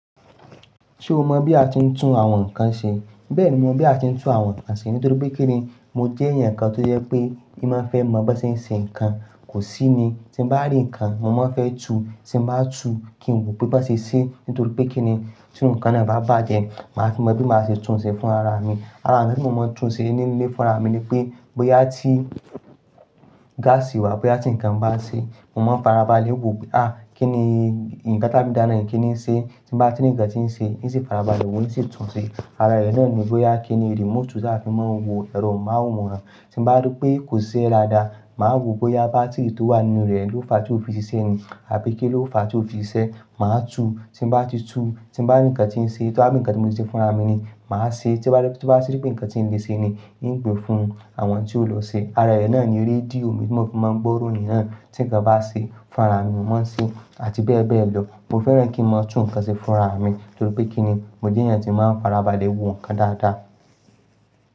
Ṣé o mọ̀ bí a ti ń tún àwọn nǹkan ṣe? Bẹ́ẹ̀ni, mo mọ̀ bí a ti ń tún àwọn nǹkan ṣe nítorí pé kíni mo jẹ́ ẹ̀yàn kan tó yẹ pé kí máa fẹ́ mọ̀ bó ṣe ń ṣe nǹkan kò sí ni. Tí mo bá rí nǹkan, mo máa fẹ́ tu. Tí mo bá tu kí n wò pé bó ṣe ṣe nítorí pé kíni tí ohun kan bá bàjẹ́, màá fi mọ̀ bí màá ṣe tún ṣe fún ara mi. Ara rẹ̀ tí mo máa ń tún ṣe nínú ilé fún ara mi ni pé bóyá tí gáàsì wà, bóyá tí ǹkan bá ṣe, mo máa ń farabalẹ̀ wò pé à kí ni ìyẹn gátámìdá náà ní kí ni ṣe. Tí mo bá ti rí ǹkan tí ń ṣe, wo sì farabalẹ̀ wò nṣi tún ṣe. Ara rẹ̀ náà ni bóyá kí ni remote ṣe a fi máa ń wo ẹ̀rọ amóhùnmáwòrán. Tí mo bá rí pé kò ṣiṣẹ́ dáadáa, màá wò bóyá bátírì tó wà nínú rẹ̀ ló fa tí ó fi ṣiṣẹ́ ni àbí kí ló fa tí ó fi ṣiṣẹ́, màá tu. Tí mo bá ti tu, tí mo bá rí ǹkan tí ń ṣe, tó ha bí ǹkan tí mo ti ṣe fún ara mi ni, màá ṣe. Tí mo bá rí pé ǹkan tí ń lè ṣe ni, yóò gbe fún àwọn tí ó lọ ṣe. Ara rẹ̀ náà ni rédíò mi tí mo fi máa ń gbọ́ orin náà. Tí ǹkan bá ṣe fún rara mi ni mo máa ń ṣe àti bẹ́ẹ̀ bẹ́ẹ̀ lọ. Mo fẹ́ràn kí n máa tún nǹkan ṣe fún ara mi nítorí pé kíni mo jẹ́ ẹ̀yàn tí máa ń farabalẹ̀ wò ǹkan dáadáa.